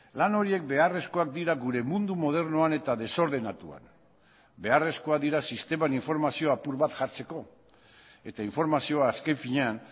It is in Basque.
lan horiek beharrezkoak dira gure mundu modernoan eta desordenatuan beharrezkoak dira sisteman informazio apur bat jartzeko eta informazioa azken finean